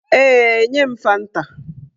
Ee, nye m fanta